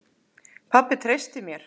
Pabbi treysti mér.